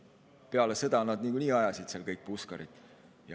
Peale sõda niikuinii ajasid kõik puskarit.